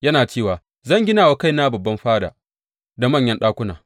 Yana cewa, Zan gina wa kaina babban fada da manyan ɗakuna.’